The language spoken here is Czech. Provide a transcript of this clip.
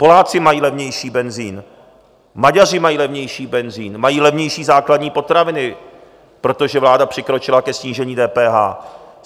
Poláci mají levnější benzin, Maďaři mají levnější benzin, mají levnější základní potraviny, protože vláda přikročila ke snížení DPH.